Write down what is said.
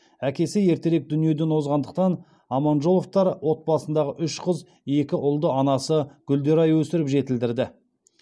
әкесі ертерек дүниеден озғандықтан аманжоловтар отбасындағы үш қыз екі ұлды анасы гүлдерай өсіріп жетілдірді